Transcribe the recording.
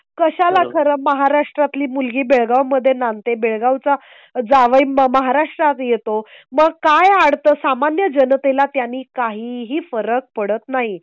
कशाला खर महाराष्ट्रात ली मुलगी बेळगाव मध्ये नांदते बेळगावचा जावई महाराष्ट्रात येतो. मग काय घडतं सामान्य जनतेला त्यांनी काही ही फरक पडत नाही.